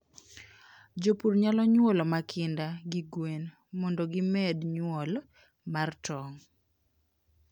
jopur nyalo nyuolo makinda gi gwen mondo gimed nyuol mar tong